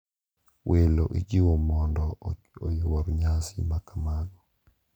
Welo ijiwo mondo oyuor nyasi makamago,